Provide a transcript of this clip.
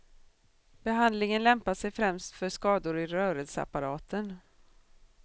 Behandlingen lämpar sig främst för skador i rörelseapparaten.